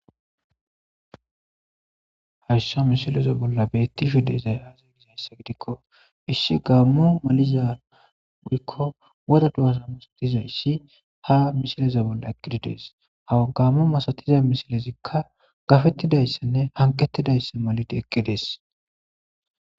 hayssa misileza bolla beetti shudeyzay aaze gizayssa gidikko issi gaammo maliza uykko woda du7azamus dizayssi ha misileza bolla eqqididees hawa gammu masatiza misilezikka gafettidayssanne hanqettidayssa malide eqqidees